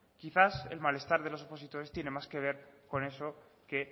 quizá el malestar de los opositores tiene más que ver con eso que